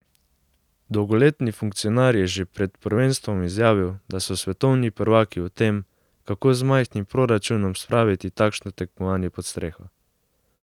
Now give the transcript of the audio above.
Dolgoletni funkcionar je že pred prvenstvom izjavil, da so svetovni prvaki v tem, kako z majhnim proračunom spraviti takšno tekmovanje pod streho.